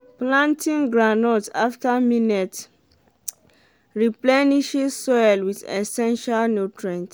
planting groundnut afta millet replenishes soil wit essential nutrients